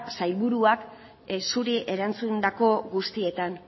sailburuak zuri erantzundako guztietan